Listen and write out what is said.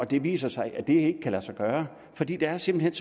det viser sig at det ikke kan lade sig gøre fordi der simpelt